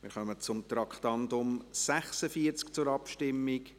Wir kommen zur Abstimmung zum Traktandum 46.